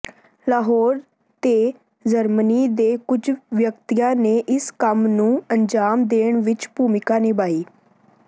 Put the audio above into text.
ਲਾਹੌਰ ਤੇ ਜਰਮਨੀ ਦੇ ਕੁਝ ਵਿਅਕਤੀਆਂ ਨੇ ਇਸ ਕੰਮ ਨੂੰ ਅੰਜਾਮ ਦੇਣ ਵਿੱਚ ਭੂਮਿਕਾ ਨਿਭਾਈ